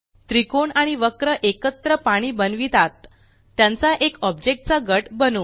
त्रिकोण आणि वक्र एकत्र पाणी बनवितात त्यांचा एक ऑब्जेक्ट चा गट बनवू